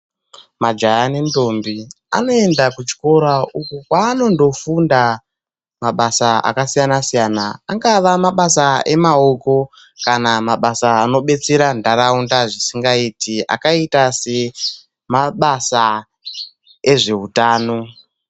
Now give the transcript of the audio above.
Majaya nendombi anoenda kuchikora uko kwaanondofunda mabasa akasiyana-siyana, angava mabasa emaoko kana mabasa anobetsera ndaraunda zvisingaiti akaita semabasa ezvehutano.